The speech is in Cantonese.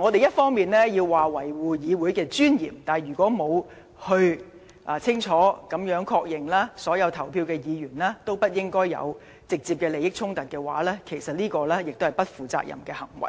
我們一方面說要維護議會的尊嚴，但如果另一方面卻沒有清楚確認，所有投票的議員皆沒有直接的利益衝突，實屬不負責任的行為。